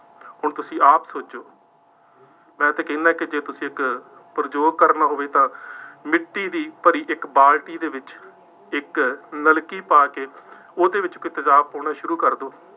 ਹੁਣ ਤੁਸੀਂ ਆਪ ਸੋਚੋ, ਮੈਂ ਇੱਥੇ ਕਹਿੰਦਾ ਕਿ ਜੇ ਤੁਸੀਂ ਇੱਕ ਪ੍ਰਯੋਗ ਕਰਨਾ ਹੋਵੇ ਤਾਂ ਮਿੱਟੀ ਦੀ ਭਰੀ ਇੱਕ ਬਾਲਟੀ ਦੇ ਵਿੱਚ ਇੱਕ ਨਲਕੀ ਪਾ ਕੇ ਉਹਦੇ ਵਿੱਚ ਕੋਈ ਤੇਜ਼ਾਬ ਪਾਉਣਾ ਸ਼ੁਰੂ ਕਰ ਦਿਉ।